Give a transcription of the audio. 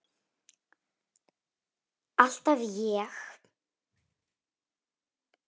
Alltaf ég.